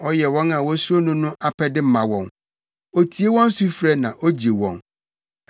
Ɔyɛ wɔn a wosuro no no apɛde ma wɔn; otie wɔn sufrɛ na ogye wɔn.